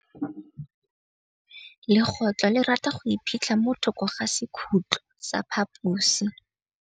Legôtlô le rata go iphitlha mo thokô ga sekhutlo sa phaposi.